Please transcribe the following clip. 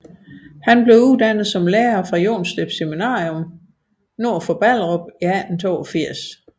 Han blev uddannet som lærer fra Jonstrup Seminarium nord for Ballerup i 1882